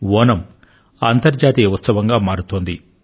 ఓణమ్ ఒక అంతర్జాతీయ ఉత్సవంలా మారుతోంది